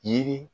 Yiri